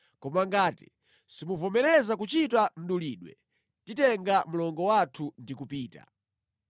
Koma ngati simuvomereza kuchita mdulidwe titenga mlongo wathu ndi kupita.”